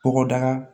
Bɔgɔdaga